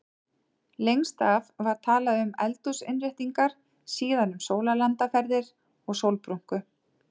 Lengst af var talað um eldhúsinnréttingar, síðan um sólarlandaferðir og sólbrúnku.